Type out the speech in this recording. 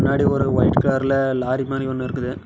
மின்னாடி ஒரு வைட் கலர்ல லாரி மாரி ஒன்னு இருக்குது.